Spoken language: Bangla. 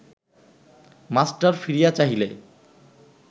মাস্টার ফিরিয়া চাহিলে